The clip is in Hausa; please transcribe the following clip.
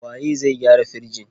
Waye zai gyara firjin?